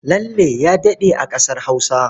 Lalle ya daɗe a ƙasar Hausa.